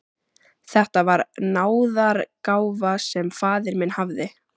Þetta var náðargáfa sem faðir minn hafði.